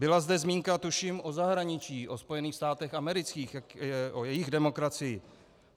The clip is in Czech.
Byla zde zmínka tuším o zahraničí, o Spojených státech amerických, o jejich demokracii.